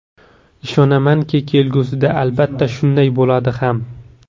Ishonamanki, kelgusida albatta shunday bo‘ladi ham.